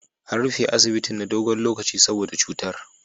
An rufe asibitin na dogon lokaci saboda cutar.